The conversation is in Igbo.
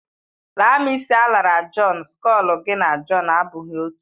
Laa m isi alara Jọn, skọlu gị na Jọn abụghị otú.